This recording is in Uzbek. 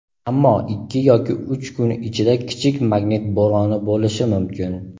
ammo ikki yoki uch kun ichida kichik magnit bo‘roni bo‘lishi mumkin.